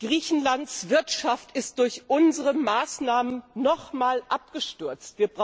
Griechenlands Wirtschaft ist durch unsere Maßnahmen noch einmal abgestürzt.